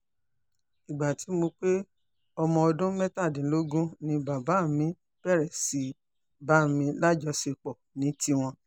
ìgbà tí mo pé ọmọ ọdún mẹ́tàdínlógún ni bàbá mi bẹ̀rẹ̀ sí í bá mi lájọṣepọ̀ ní tiwọn